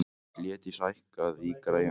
Hlédís, hækkaðu í græjunum.